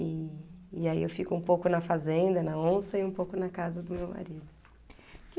E, e aí eu fico um pouco na fazenda, na onça, e um pouco na casa do meu marido.